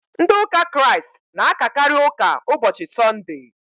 Ndị ụka Kraịst na-akakarị ụka ụbọchị sọndee.